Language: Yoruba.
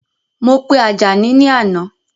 Mo pe Àjàní ni àná